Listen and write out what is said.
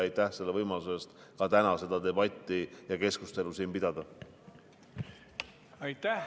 Aitäh selle võimaluse eest täna seda debatti ja keskustelu siin pidada!